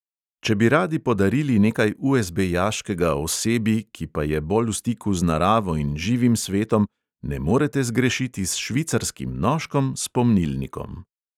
Če bi radi podarili nekaj USB-jaškega osebi, ki pa je bolj v stiku z naravo in živim svetom, ne morete zgrešiti s švicarskim nožkom s pomnilnikom.